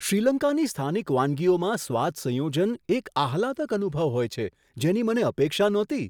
શ્રીલંકાની સ્થાનિક વાનગીઓમાં સ્વાદ સંયોજન એક આહલાદક અનુભવ હોય છે, જેની મને અપેક્ષા નહોતી.